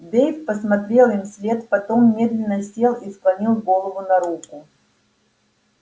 дейв посмотрел им вслед потом медленно сел и склонил голову на руку